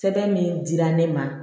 Sɛbɛn min dira ne ma